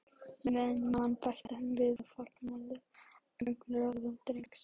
Meðan ég man- bætti hann við og fangaði augnaráð drengsins.